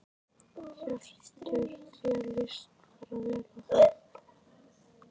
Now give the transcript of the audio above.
Hjörtur: Þér lýst bara vel á það?